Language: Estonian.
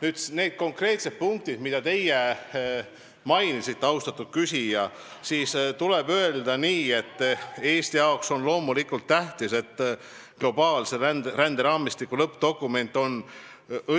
Mis puutub konkreetsetesse punktidesse, mida teie mainisite, austatud küsija, siis tuleb öelda nii, et Eesti jaoks on loomulikult tähtis, et globaalse ränderaamistiku lõppdokument on